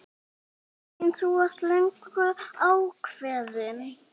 Elín: Þú varst löngu ákveðin?